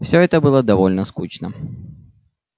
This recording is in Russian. всё это было довольно скучно